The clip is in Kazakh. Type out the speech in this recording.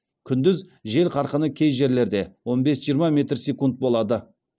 күндіз жел қарқыны кей жерлерде он бес жиырма метр секунд болады